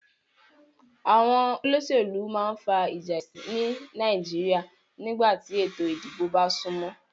Àwon olósèlú ma n fa ìjà èsìn ni Naijiria nígbàtí ètò ìdibò ba súnmó